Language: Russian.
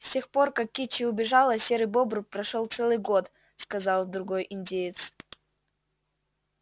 с тех пор как кичи убежала серый бобр прошёл целый год сказал другой индеец